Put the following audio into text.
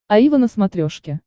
аива на смотрешке